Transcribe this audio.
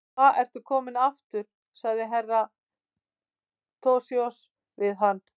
Hva ertu kominn aftur, sagði vinur Herra Toshizoz við hann.